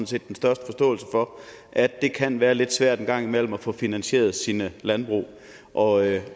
set den største forståelse for at det kan være lidt svært en gang imellem at få finansieret sit landbrug og